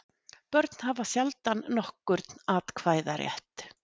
Börn hafa sjaldnast nokkurn atkvæðarétt.